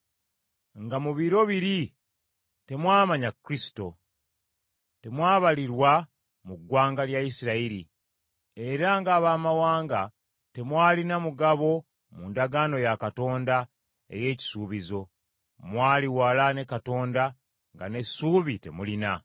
nga mu biro biri temwamanya Kristo. Temwabalirwa mu ggwanga lya Isirayiri, era ng’Abaamawanga, temwalina mugabo mu ndagaano ya Katonda ey’ekisuubizo. Mwali wala ne Katonda, nga n’essuubi temulina.